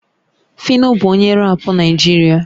Phyno bụ onye rap Naịjirịa